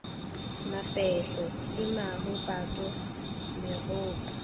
mafehlo le maho pato megopo